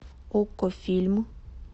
окко фильм